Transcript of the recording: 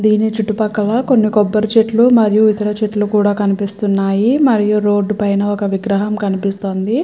దీని చుట్టూ పక్కల మరియు కొన్ని కొబ్బరి చెట్లు మరియు ఇతర చెట్లు కూడా కనిపిస్తున్నాయి మరియు రోడ్ పైన ఒక విగ్రహం కనిపిస్తుంది.